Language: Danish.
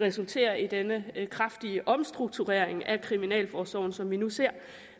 resultere i denne kraftige omstrukturering af kriminalforsorgen som vi nu ser